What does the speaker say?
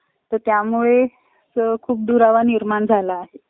चौदा हजारात कोणताही गरजेचं कोणताही, काहीच कोणतीचं गोष्ट भागत नाही. पण मित्रांनो हा बसून मस्त